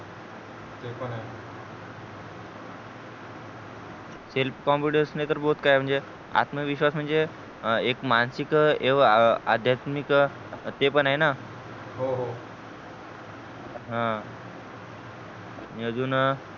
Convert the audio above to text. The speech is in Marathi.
selfconfidance नाहीतर both काय म्हणजे आत्मविश्वास म्हणजे एक मानसिक एक आध्यत्मिक ते पण आहे न हो हो हं आणि अजून